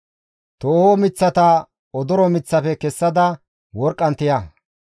Tooho miththata odoro miththafe kessada worqqan tiya.